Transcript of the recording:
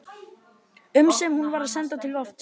um sem hún var að senda til lofts.